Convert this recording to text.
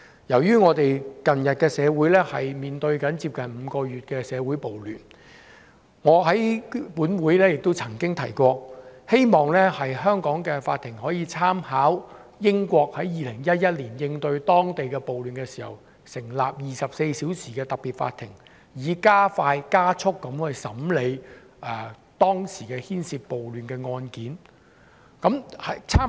由於我們的社會近日面對接近5個月的社會暴亂，我在本會亦曾經提過，希望香港的法庭可以參考英國在2011年應對當地暴亂事件的做法，成立24小時運作的特別法庭，以加快審理當時涉及暴亂的案件。